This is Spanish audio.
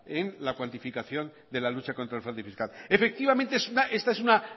en la cuantificación de la lucha contra el fraude fiscal efectivamente esta es una